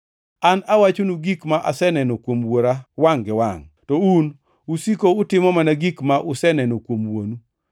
An awachonu gik ma aseneno kuom Wuora wangʼ gi wangʼ, to un usiko utimo mana gik ma useneno kuom wuonu.”